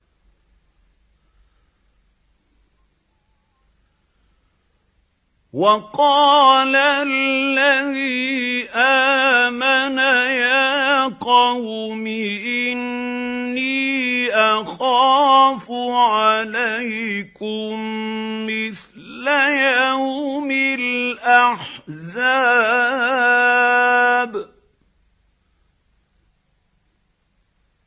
وَقَالَ الَّذِي آمَنَ يَا قَوْمِ إِنِّي أَخَافُ عَلَيْكُم مِّثْلَ يَوْمِ الْأَحْزَابِ